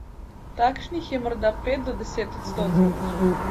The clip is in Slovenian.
Takšnih je morda pet do deset odstotkov.